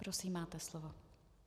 Prosím, máte slovo.